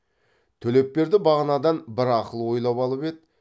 төлепберді бағанадан бір ақыл ойлап алып еді